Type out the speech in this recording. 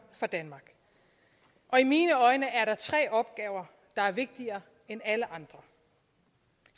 for danmark og i mine øjne er der tre opgaver der er vigtigere end alle andre